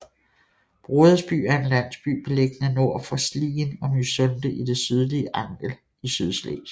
Brodersby er en landsby beliggende nord for Slien og Mysunde i det sydlige Angel i Sydslesvig